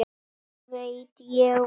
Ég veit, ég veit.